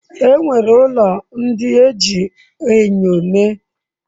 E nwere ụlọ ndị e ji enyo mee.